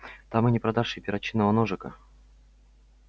там и не продашь и перочинного ножика